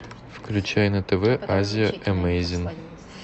включай на тв азия эмейзинг